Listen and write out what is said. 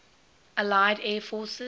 allied air forces